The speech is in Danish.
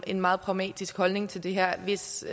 en meget pragmatisk holdning til det her hvis